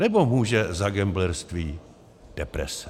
Nebo může za gamblerství deprese?